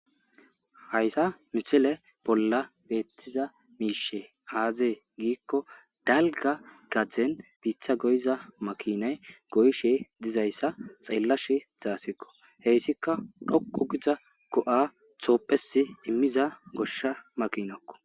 Haysa misile bolla beetiza mishey aaze giikoni dalga gadeni biita goyiza makinayo goyishe dizaysa xeelashe daysiko, heysika dhoqu gida go'a tophiyasi imiza gosha makinako.